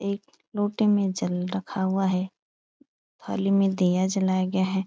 एक लोटे में जल रखा हुआ है। थाली में दिया जलाया गया है।